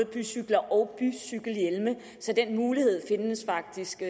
bycykler og bycykelhjelme så den mulighed findes faktisk i